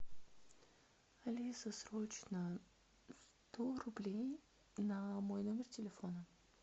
алиса срочно сто рублей на мой номер телефона